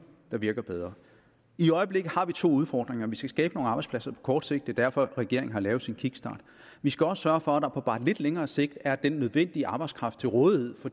der virker bedre i øjeblikket har vi to udfordringer vi skal skabe nogle arbejdspladser på kort sigt det er derfor regeringen har lavet sin kickstart og vi skal også sørge for at der på bare lidt længere sigt er den nødvendige arbejdskraft til rådighed